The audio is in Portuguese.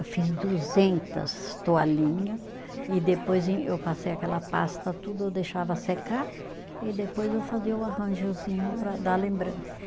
Eu fiz duzentas toalhinha e depois em, eu passei aquela pasta, tudo eu deixava secar e depois eu fazia o arranjozinho para dar lembrança